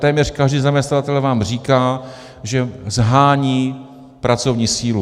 Téměř každý zaměstnavatel vám říká, že shání pracovní sílu.